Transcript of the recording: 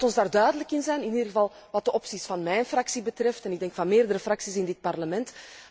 Laat ons daar duidelijk in zijn in ieder geval wat de opties van mijn fractie betreft en ik denk van meerdere fracties in dit Parlement.